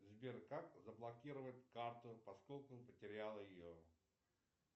сбер как заблокировать карту поскольку потерял ее